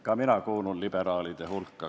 Ka mina kuulun liberaalide hulka.